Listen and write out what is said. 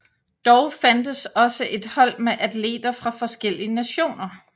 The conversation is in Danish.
Dog fandtes også et hold med atleter fra forskellige nationer